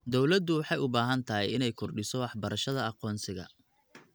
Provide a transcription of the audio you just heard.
Dawladdu waxay u baahan tahay inay kordhiso waxbarashada aqoonsiga.